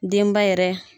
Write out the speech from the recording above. Denba yɛrɛ